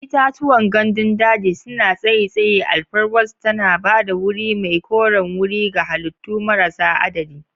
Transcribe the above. Itatuwan gandun daji suna tsayi tsayi, alfarwarsu tana ba da wuri mai koren wuri ga halittu marasa adadi.